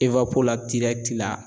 la la.